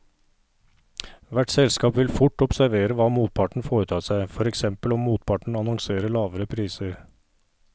Hvert selskap vil fort observere hva motparten foretar seg, for eksempel om motparten annonserer lavere priser.